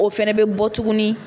O fɛnɛ bɛ bɔ tuguni